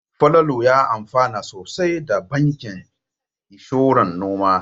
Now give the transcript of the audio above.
Falalu ya amfana sosai da bankin inshoran noma.